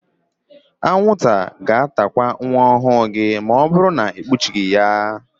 Anwụnta ga-atakwa nwa ọhụụ gị ma ọbụrụ na ikpuchighi ya.